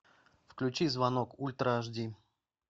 включи звонок ультра аш ди